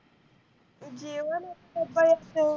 जेवण